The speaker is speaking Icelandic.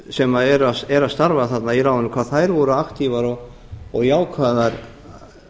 sem eru að starfa þarna í ráðinu hvað þær voru aktífar og jákvæðar